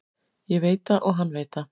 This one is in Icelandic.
Ég veit það og hann veit það.